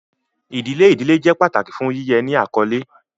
Idile idile jẹ pataki fun yiyẹ ni akọle.